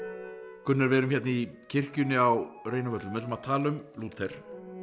Gunnar við erum hérna í kirkjunni á Reynivöllum við ætlum að tala um Lúther